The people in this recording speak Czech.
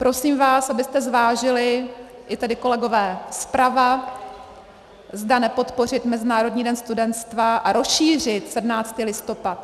Prosím vás, abyste zvážili, i tady kolegové zprava, zda nepodpořit Mezinárodní den studenstva a rozšířit 17. listopad.